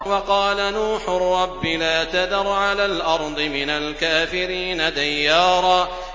وَقَالَ نُوحٌ رَّبِّ لَا تَذَرْ عَلَى الْأَرْضِ مِنَ الْكَافِرِينَ دَيَّارًا